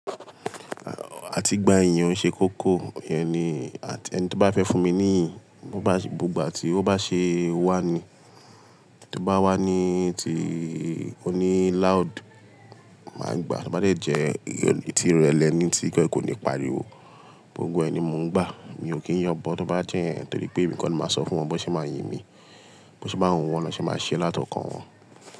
Àti ìgbà èèyàn ṣe kókó, yẹn ni, àti ẹni tí ó bá fẹ́ fún mi níyìn, bó bá, gbogbo àti ó bá ṣe wà ni, tó bá wà ni ti, oní laud máa gbà á, tó bá jẹ́ ti ìrẹ̀lẹ̀ ni tí kò ní pariwo, gbogbo ẹni mo ń gbà. Mi ò kí ń yọbọ tó bá jẹ́ yẹ̀n, torí pé èmi kọ́ ni màá sọ fún wọn bó ṣe máa yin mi, bó ṣe bá hun wọn ní ṣe máa ṣé láti ọkàn wọn.